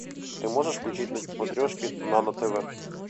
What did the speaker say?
ты можешь включить на смотрешке нано тв